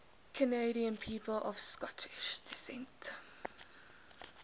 canadian people of scottish descent